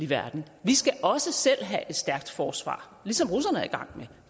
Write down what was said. verden vi skal også selv have et stærkt forsvar ligesom russerne er i gang med